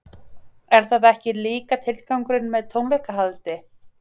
Er það ekki líka tilgangurinn með tónleikahaldi?